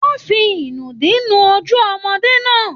Wọn fí inùdí nu ojú ọmọde náà.